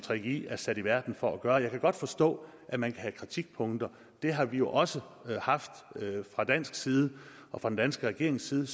gggi er sat i verden for at gøre jeg kan godt forstå at man kan have kritikpunkter det har vi jo også haft fra dansk side og fra den danske regerings side